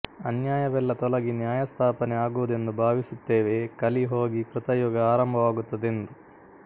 ಅನ್ಯಾಯವೆಲ್ಲ ತೊಲಗಿ ನ್ಯಾಯಸ್ಥಾಪನೆ ಆಗುವುದೆಂದು ಭಾವಿಸುತ್ತೇವೆ ಕಲಿ ಹೋಗಿ ಕೃತಯುಗ ಆರಂಭವಾಗುತ್ತದೆಂ ದು